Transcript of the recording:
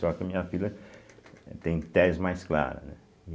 Só que a minha filha tem tez mais clara, né.